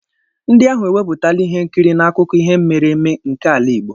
Ndị ahụ ewepụtala ihe nkiri n'akụkọ ihe mere eme nke ala igbo.